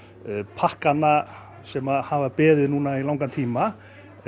pakkana sem hafa beðið núna í langan tíma